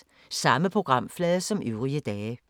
Samme programflade som øvrige dage